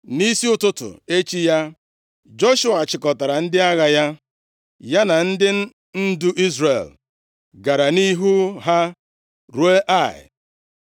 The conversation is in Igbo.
Nʼisi ụtụtụ echi ya, Joshua chịkọtara ndị agha ya, ya na ndị ndu Izrel gara nʼihu ha, ruo Ai.